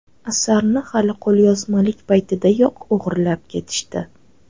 Asarni hali qo‘lyozmalik paytidayoq o‘g‘irlab ketishdi.